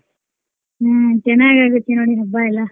ಹ್ಮ್ ಚನ್ನಾಗ್ ಆಗತ್ತ್ ನೋಡ್ರಿ ಹಬ್ಬ ಎಲ್ಲ.